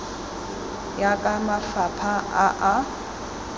ya ka mafapha a a